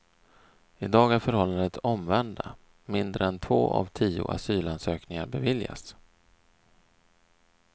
I dag är förhållandet det omvända, mindre än två av tio asylansökningar beviljas.